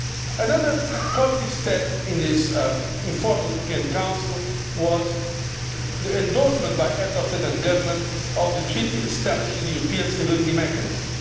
Another positive step in this informal European Council was the endorsement by the Heads of State or Government of the Treaty establishing the European Stability Mechanism.